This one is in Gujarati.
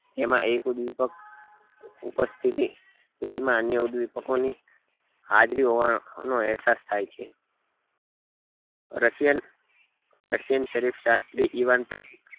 જેમમાં એક ઉદ્વેપ્ક ની ઉપસ્થિતિ ઉદ્વેપકો ની હાજરી હોવા નો અહેસાસ થાય છે russian russian શરીફ શાસ્ત્રી ઇવાન